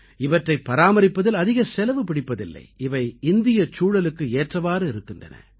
இவற்றைப் பராமரிப்பதில் அதிக செலவு பிடிப்பதில்லை இவை இந்தியச் சூழலுக்கு ஏற்றவாறு இருக்கின்றன